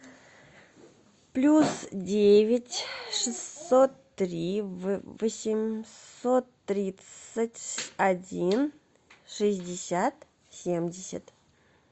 плюс девять шестьсот три восемьсот тридцать один шестьдесят семьдесят